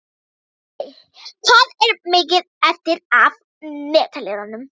Stanley, hvað er mikið eftir af niðurteljaranum?